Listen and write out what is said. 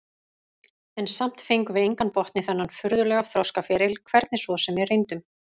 En samt fengum við engan botn í þennan furðulega þroskaferil, hvernig svo sem við reyndum.